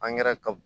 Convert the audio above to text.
ka